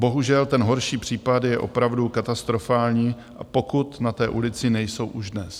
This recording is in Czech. Bohužel ten horší případ je opravdu katastrofální, pokud na té ulici nejsou už dnes.